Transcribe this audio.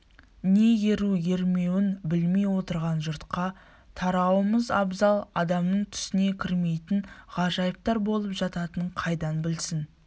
не еру-ермеуін білмей отырған жұртқа тарауымыз абзал адамның түсіне кірмейтін ғажайыптар болып жататынын қайдан білсін